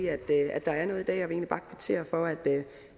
at der er noget jeg vil egentlig bare kvittere for at